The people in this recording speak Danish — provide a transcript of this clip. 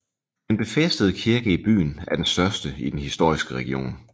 Den befæstede kirke i byen er den største i den historiske region